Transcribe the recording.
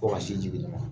Ko ka sin di den ma